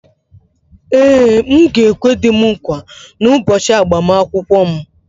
Ee, m ga-ekwe di m nkwa n’ụbọchị agbamakwụkwọ m